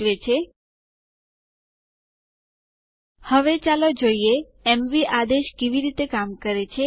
ચાલો હવે યુઝરમોડ આદેશ વિશે શીખીએ